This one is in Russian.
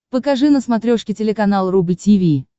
покажи на смотрешке телеканал рубль ти ви